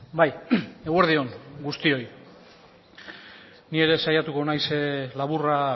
bai eguerdi on guztioi ni ere saiatuko naiz laburra